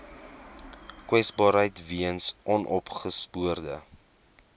kwesbaarheid weens onopgespoorde